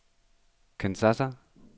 Kinshasa